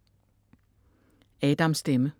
Adams stemme